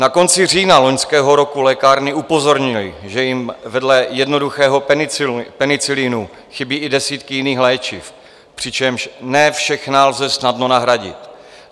Na konci října loňského roku lékárny upozornily, že jim vedle jednoduchého penicilinu chybí i desítky jiných léčiv, přičemž ne všechna lze snadno nahradit.